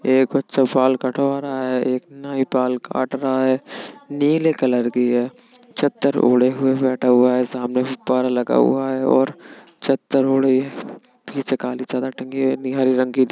एक बच्चा बाल कटवा रहा है | एक नाई बाल काट रहा है | नीले कलर की है चद्दर ओढ़े हुए बैठा हुआ है | सामने गुब्बारा लगा हुआ है और चद्दर ओढ़े पीछे काली चादर टंगी हुई है नी हरे रंग की दी --